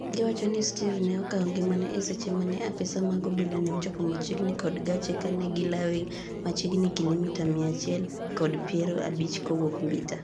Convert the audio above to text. giwacho ni Steve ne okawo ngimane eseche mane apisa mag Obila ne ochope machiegni kor gache kane gilawe machiegni kilimita mia chiel kod piero abich kowuok Mbita